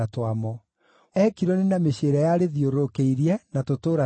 Na Ekironi na mĩciĩ ĩrĩa yarĩthiũrũrũkĩirie, na tũtũũra twamo;